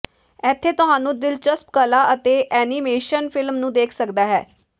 ਇੱਥੇ ਤੁਹਾਨੂੰ ਦਿਲਚਸਪ ਕਲਾ ਅਤੇ ਐਨੀਮੇਸ਼ਨ ਫਿਲਮ ਨੂੰ ਦੇਖ ਸਕਦਾ ਹੈ